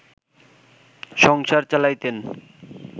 সংসার চালাইতেন